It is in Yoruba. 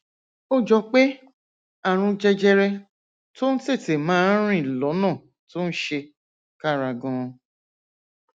ó jọ pé àrùn jẹjẹrẹ tó ń tètè máa rìn lọnà tó ń ṣe kára ganan